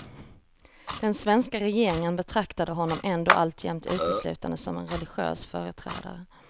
Den svenska regeringen betraktar honom ändå alltjämt uteslutande som en religiös företrädare.